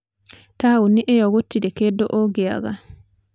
Taũnĩ ĩyo gũtirĩ kĩndu ũngĩaga.